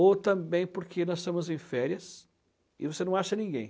Ou também porque nós estamos em férias e você não acha ninguém.